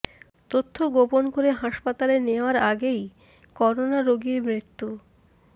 তথ্য গোপন করে হাসপাতালে নেয়ার আগেই করোনা রোগীর মৃত্যু